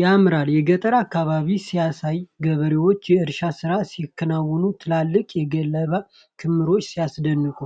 ያምራል! የገጠር አካባቢ ሲያሳይ! ገበሬዎች የእርሻ ሥራ ሲያከናውኑ። ትልልቅ የገለባ ክምሮች ሲያስደንቁ!